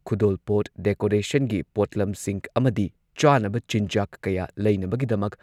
ꯈꯨꯗꯣꯜꯄꯣꯠ, ꯗꯦꯀꯣꯔꯦꯁꯟꯒꯤ ꯄꯣꯠꯂꯝꯁꯤꯡ ꯑꯃꯗꯤ ꯆꯥꯅꯕ ꯆꯤꯟꯖꯥꯛ ꯀꯌꯥ ꯂꯩꯅꯕꯒꯤꯗꯃꯛ